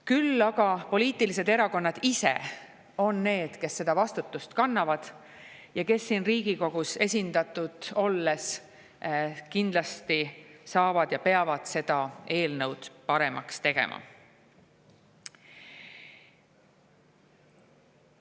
Küll aga poliitilised erakonnad ise on need, kes seda vastutust kannavad ja kes siin Riigikogus esindatud olles kindlasti saavad seda eelnõu paremaks teha ja peavad seda tegema.